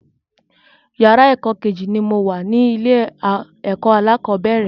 Yàrá ẹ̀kọ́ Kejì ni mo wà ní ilé ẹ̀kọ́ alákọ̀bẹ́rẹ̀